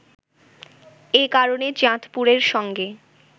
এ কারণে চাঁদপুরের সঙ্গে